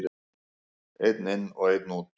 Einn inn og einn út!